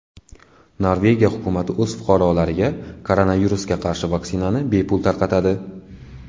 Norvegiya hukumati o‘z fuqarolariga koronavirusga qarshi vaksinani bepul tarqatadi.